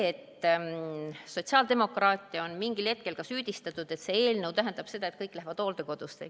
Sotsiaaldemokraate on mingil hetkel ka süüdistatud, et see eelnõu tähendab seda, et kõik lähevad hooldekodusse.